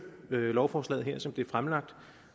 lovforslaget her som det er fremlagt